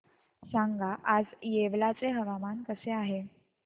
सांगा आज येवला चे हवामान कसे आहे